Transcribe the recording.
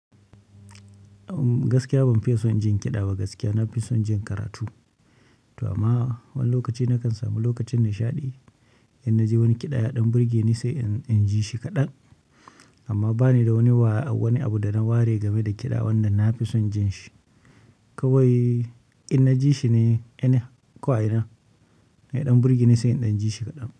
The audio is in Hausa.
Gaskiya ban fiya son jin kiɗa ba, nafi son jin karatu. To amma wani lokaci na kan samu lokacin nishaɗi, in naji wani kiɗa ya ɗan burge ni sai in, in ji shi kaɗan. Amma ba ni da wani wa, wani abu da na ware game da kiɗa wanda na fi son jin shi. Kawai in naji shi ne, ina ko a ina, ya ɗan burge ni sai in ɗan jishi kaɗan.